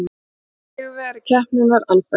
Sigurvegari keppninnar, Albert